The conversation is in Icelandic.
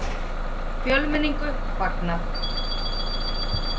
Fjölmenningu fagnað